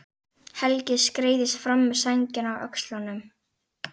Helgi skreiðist fram með sængina á öxlunum.